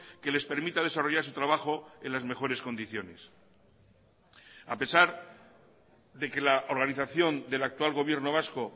que les permita desarrollar su trabajo en las mejores condiciones a pesar de que la organización del actual gobierno vasco